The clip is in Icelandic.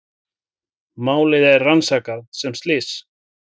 Málið er rannsakað sem slys